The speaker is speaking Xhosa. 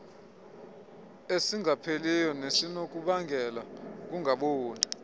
esingapheliyo nesinokubangela ukungaboni